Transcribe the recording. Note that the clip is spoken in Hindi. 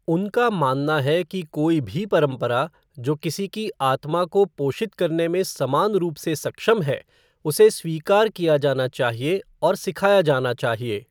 उनका मानना है कि कोई भी परंपरा जो किसी के आत्मा को पोषित करने में समान रूप से सक्षम है, उसे स्वीकार किया जाना चाहिए और सिखाया जाना चाहिए।